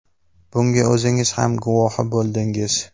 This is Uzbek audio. Bunga o‘zingiz ham guvohi bo‘ldingiz.